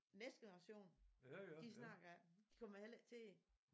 Næste generation de snakker de kommer heller ikke til det